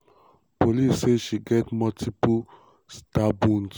police say she get multiple stab wounds.